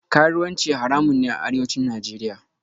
Karuwanci haramun ne a Arewacin Najeriya